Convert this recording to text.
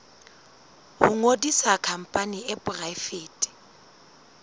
ho ngodisa khampani e poraefete